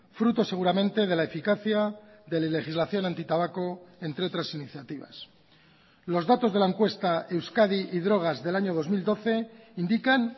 fruto seguramente de la eficacia de la legislación antitabaco entre otras iniciativas los datos de la encuesta euskadi y drogas del año dos mil doce indican